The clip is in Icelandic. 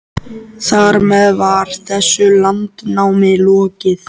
Þar með var þessu landnámi lokið.